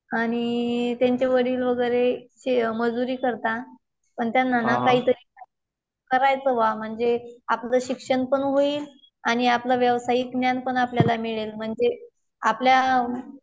आणि त्यांचे वडील वगैरे मजुरी करतात. पण त्यांना